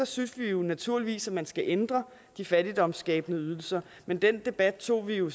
synes vi naturligvis at man skal ændre de fattigdomsskabende ydelser men den debat tog vi jo